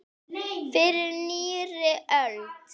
Fyrir nýrri öld!